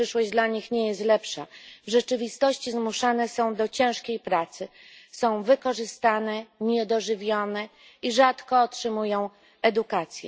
Ta przyszłość dla nich nie jest lepsza. W rzeczywistości zmuszane są do ciężkiej pracy. Są wykorzystywane, niedożywione i rzadko otrzymują edukację.